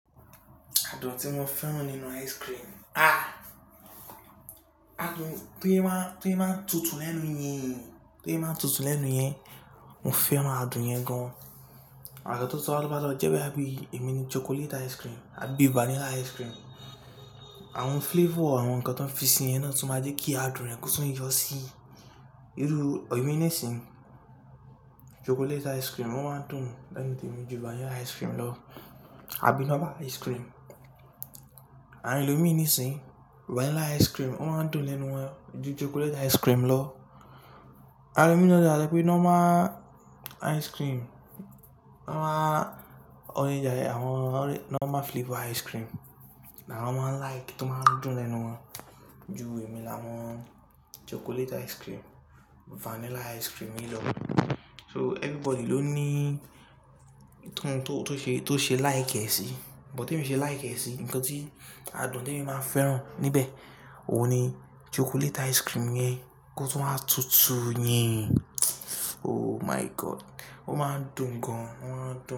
Adùn tí mo fẹ́ràn nínú ice cream. Adùn tó yẹ máa ń, tó yẹ máa ń tutù lẹ́nu yẹn, tó yẹ máa ń tutù lẹ́nu yẹn, mo fẹ́ràn adùn yẹn gan. Àgàgà tó tún wá lọ mọ́ lọ jẹ́ bóyá bí ẹ̀mí ní chocolate ice cream àbí vanilla ice cream, àwọn flavor àwọn nǹkan tó ń fi sí yẹn náà tún máa jẹ́ kí adùn rẹ̀ kó tún yọ sí. Irú èmi nísìnyí chocolate ice cream ó máa ń dùn lẹ́nu tèmi ju vanilla ice cream lọ, àbí normal ice cream. Àwọn ẹlòmí nísìnyí vanilla ice cream ó máa ń dùn lẹ́nu wọn ju chocolate ice cream lọ. Àwọn mi dẹ̀ wá lè sọpé normal ice cream, normal orange, àwọn orange normal flavor ice cream la wọ́n máa ń like, tó máa ń dùn lẹ́nu wọn ju èmi láwọn chocolate ice cream, vanilla ice cream yìí lọ. So everybody ló ní ì yi tó oun to to se to ṣe like ẹ̀ sí, but tèmi ṣe like ẹ̀ sí nǹkan tí adùn tí èmi máa fẹ́ràn níbẹ̀, òun ni chocolate ice cream yẹn kó tún wá tutù yẹn. Oh my God! Ó máa ń dùn gan-an, ó máa ń dùn.